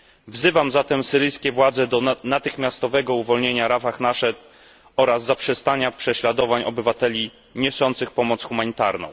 Wzywam zatem syryjskie władze do natychmiastowego uwolnienia Rafah Nached oraz zaprzestania prześladowań obywateli niosących pomoc humanitarną.